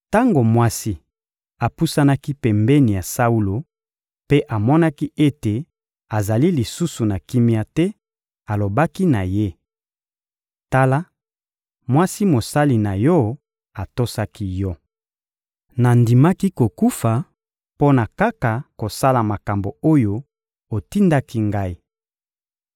Tango mwasi apusanaki pembeni ya Saulo mpe amonaki ete azali lisusu na kimia te, alobaki na ye: — Tala, mwasi mosali na yo atosaki yo. Nandimaki kokufa mpo na kaka kosala makambo oyo otindaki ngai.